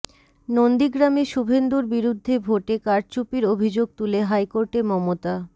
নন্দীগ্রামে শুভেন্দুর বিরুদ্ধে ভোটে কারচুপির অভিযোগ তুলে হাইকোর্টে মমতা